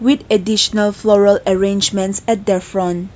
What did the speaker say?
with additional flower arrangement at the front.